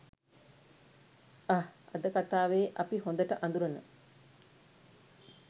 අහ් අද කතාවෙ අපි හොඳට අඳුරන